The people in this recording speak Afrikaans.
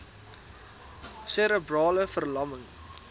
serebrale ver lamming